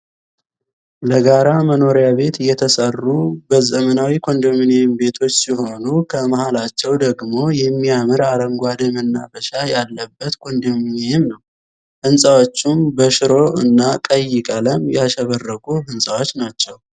ለጋራ መኖሪያ ቤት የተሰሩ ዘመናዊ ኮንደምንየም ቤቶች ሲሆኑ ከመሃላቸው ደግሞ የሚያምር አረንጓዴ የመናፈሻ ያለበት ኮንዶሚኒየም ነው። ህንፃዎችም በሽሮ እና ቀይ ቀለም የሸበረቁ ህንጻዎች ናቸው።